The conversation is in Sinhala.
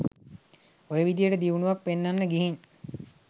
ඔය විදිහට දියුණුවක් පෙන්නන්න ගිහින්